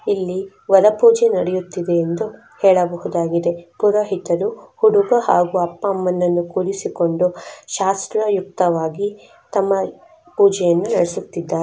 ಇಲ್ಲಿ ವರ ಪೂಜೆ ನಡಿಯುತಿದೆ ಎಂದು ಹೇಳಬಹುದಾಗಿದೆ ಪುರೋಹಿತರು ಹುಡುಗ ಅಪ್ಪ ಅಮ್ಮನ್ನ ಕುಳಿಸಿಕೊಂಡು ಶಾಸ್ತ್ರವಾಗಿ ಪೂಜೆ ಅನ್ನು ನಡಿಸುತಿದ್ದಾರೆ.